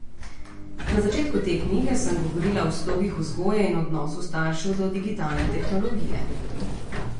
Na začetku te knjige sem govorila o slogih vzgoje in odnosu staršev do digitalne tehnologije.